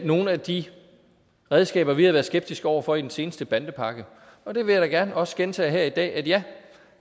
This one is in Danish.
nogle af de redskaber vi har været skeptiske over for i den seneste bandepakke og det vil jeg da gerne også gentage her i dag ja